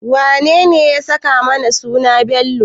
Wanene ya saka mana suna Bello?